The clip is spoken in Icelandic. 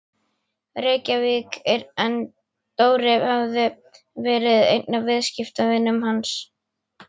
Reykjavík en Dóri hafði verið einn af viðskiptavinum hans.